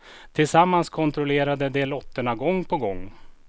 Tillsammans kontrollerade de lotterna gång på gång.